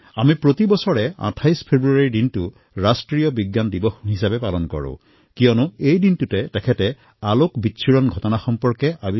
আমি প্ৰত্যেক বৰ্ষৰ ২৮ ফেব্ৰুৱাৰীত ৰাষ্ট্ৰীয় বিজ্ঞান দিৱস উদযাপন কৰোঁ কাৰণ কোৱা হয় যে সেই দিনটোতেই তেওঁ লাইট Scatteringৰ অন্বেষণ কৰিছিল